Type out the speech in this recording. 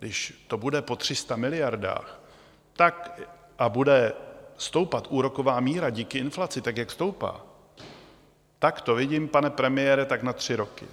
Když to bude po 300 miliardách a bude stoupat úroková míra díky inflaci tak, jak stoupá, tak to vidím, pane premiére, tak na tři roky.